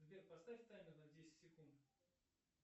сбер поставь таймер на десять секунд